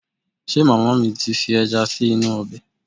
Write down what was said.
Ṣe màmá mi ti fi ẹja sí inú ọbẹ̀?